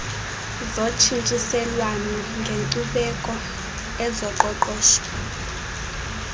zotshintshiselwano ngenkcubeko ezoqoqosho